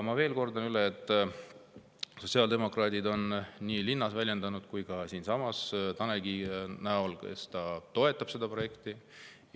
Ma kordan veel üle, et sotsiaaldemokraadid on väljendanud nii linna kui ka siinsamas Tanel Kiige kaudu, kes toetab seda projekti.